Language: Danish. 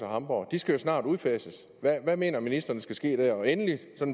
hamburg de skal jo snart udfases hvad mener ministeren skal ske der endelig